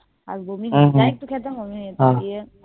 আর জি যাই খেতাম বমি হয়েযেতো